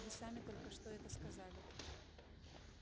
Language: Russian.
вы сами только что это сказали